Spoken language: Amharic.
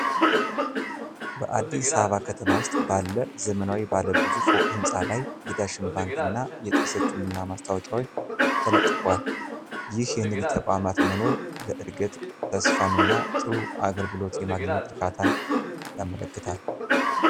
በአዲስ አበባ ከተማ ውስጥ ባለ ዘመናዊ ባለ ብዙ ፎቅ ሕንፃ ላይ የዳሽን ባንክ እና የጥርስ ህክምና ማስታወቂያዎች ተለጥፈዋል። ይህ የንግድ ተቋማት መኖር ለዕድገት ተስፋን እና ጥሩ አገልግሎት የማግኘት እርካታን ያመለክታል።